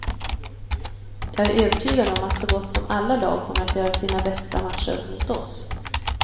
Jag är övertygad om att så gott som alla lag kommer att göra sina bästa matcher mot oss.